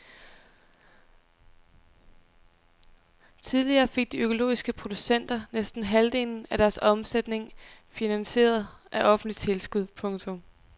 Tidligere fik de økologiske producenter næsten halvdelen af deres omsætning finansieret af offentlige tilskud. punktum